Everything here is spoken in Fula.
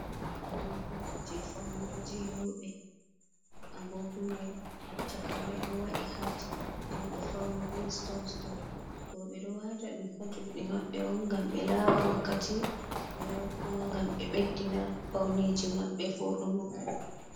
Agogo ji faunugo je roɓe. A gogo mai chaka mai ɗo waɗi hat. Den ɗo fauni be stons stons. Roɓe ɗo wata ɗum ha juɗe maɓɓe on gam ɓe lara wakkati be kuma gam ɓe beddina pauneji maɓɓe voɗugo.